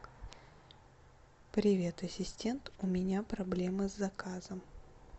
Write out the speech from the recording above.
привет ассистент у меня проблемы с заказом